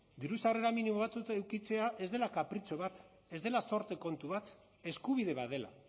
diru sarrera minimo batzuk edukitzea ez dela kapritxo bat ez dela zorte kontu bat eskubide bat dela